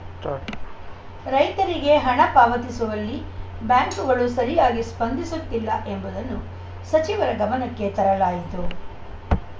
start ರೈತರಿಗೆ ಹಣ ಪಾವತಿಸುವಲ್ಲಿ ಬ್ಯಾಂಕ್‌ಗಳು ಸರಿಯಾಗಿ ಸ್ಪಂದಿಸುತ್ತಿಲ್ಲ ಎಂಬುದನ್ನು ಸಚಿವರ ಗಮನಕ್ಕೆ ತರಲಾಯಿತು